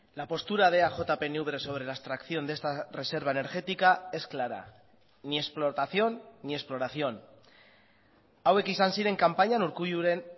la postura de eaj pnv sobre la extracción de esta reserva energética es clara ni explotación ni exploración hauek izan ziren kanpainan urkulluren